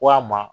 Walima